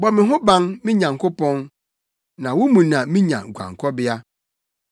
Bɔ me ho ban, me Nyankopɔn, na wo mu na minya guankɔbea.